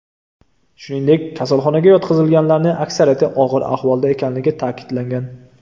Shuningdek, kasalxonaga yotqizilganlarning aksariyati og‘ir ahvolda ekanligini ta’kidlagan.